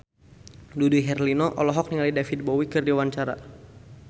Dude Herlino olohok ningali David Bowie keur diwawancara